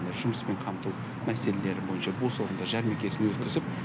жұмыспен қамту мәселелері бойынша бос орындар жәрмеңкесін өткізіп